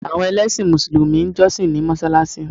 Àwọn ẹlẹ́sìn mùsùlùmí ń jọ́ṣì ní mọsáláṣí